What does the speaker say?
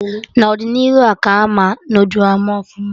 N'ọdịnihu a ka ha ama noodul ama ọfụma